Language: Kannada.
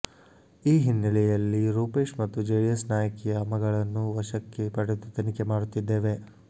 ಈ ಹಿನ್ನೆಲೆಯಲ್ಲಿ ರೂಪೇಶ್ ಮತ್ತು ಜೆಡಿಎಸ್ ನಾಯಕಿಯ ಮಗಳನ್ನು ವಶಕ್ಕೆ ಪಡೆದು ತನಿಖೆ ಮಾಡುತ್ತಿದ್ದೇವೆ